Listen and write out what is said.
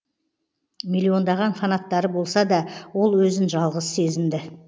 миллиондаған фанаттары болса да ол өзін жалғыз сезінді